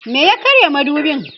me ya karya madubin?